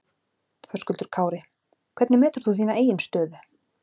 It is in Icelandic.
Höskuldur Kári: Hvernig metur þú þína eigin stöðu?